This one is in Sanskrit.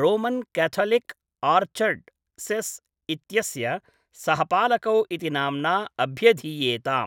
रोमन् क्याथलिक् आर्च्डयसेस् इत्यस्य सहपालकौ इति नाम्ना अभ्यधीयेताम्।